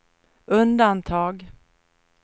undantag